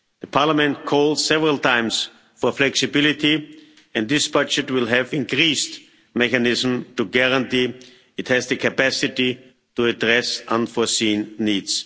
Parliament called several times for flexibility, and this budget will have increased mechanisms to guarantee it has the capacity to address unforeseen needs.